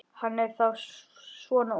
Hann er þá svona ungur.